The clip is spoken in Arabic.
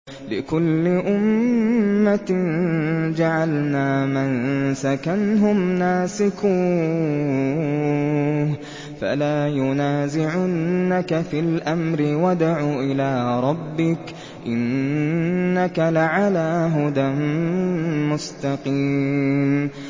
لِّكُلِّ أُمَّةٍ جَعَلْنَا مَنسَكًا هُمْ نَاسِكُوهُ ۖ فَلَا يُنَازِعُنَّكَ فِي الْأَمْرِ ۚ وَادْعُ إِلَىٰ رَبِّكَ ۖ إِنَّكَ لَعَلَىٰ هُدًى مُّسْتَقِيمٍ